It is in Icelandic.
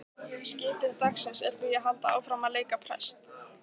Skipun dagsins er því að halda áfram að leika prest.